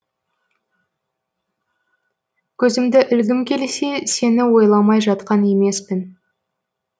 көзімді ілгім келсе сені ойламай жатқан емеспін